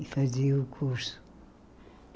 E fazia o curso.